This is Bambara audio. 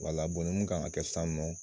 Wala ni mun kan ka kɛ sisan nɔ